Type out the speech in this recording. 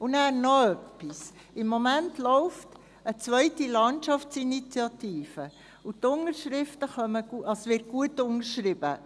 Dann noch etwas: Im Moment läuft eine zweite Landschaftsinitiative, und sie wird gut unterschrieben.